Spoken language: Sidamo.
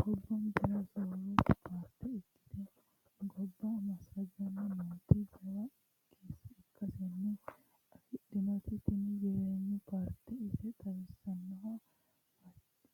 Gobbankera soorrote paarte ikkite gobba massagani nooti jawa irkisano affi'dhinoti tini jireenyu paarte ise xawisanoha